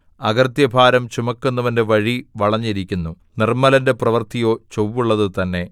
അകൃത്യഭാരം ചുമക്കുന്നവന്റെ വഴി വളഞ്ഞിരിക്കുന്നു നിർമ്മലന്റെ പ്രവൃത്തിയോ ചൊവ്വുള്ളത് തന്നെ